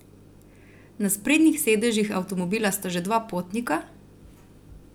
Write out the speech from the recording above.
Na sprednjih sedežih avtomobila sta že dva potnika?